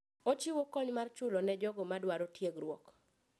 Ochiwo kony mar chulo ne jogo madwaro tiegruok.